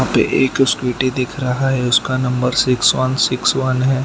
एक स्कूटी दिख रहा है उसका number six one six one है।